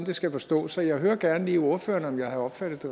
det skal forstås så jeg hører gerne lige ordføreren om jeg havde opfattet